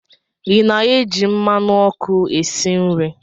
Ị na-eji mmanụ ọkụ esi nri?